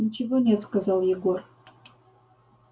ничего нет сказал егор